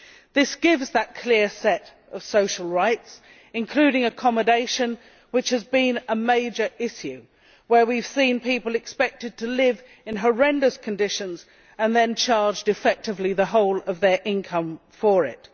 This gives that clear set of social rights including accommodation, which has been a major issue and where we have seen people expected to live in horrendous conditions and then charged effectively the whole of their income for it.